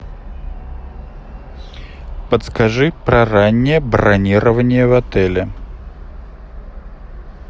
подскажи про раннее бронирование в отеле